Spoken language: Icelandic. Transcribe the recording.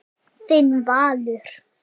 Þinn Valur.